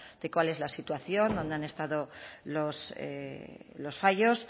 de cuál es la situación dónde han estado los fallos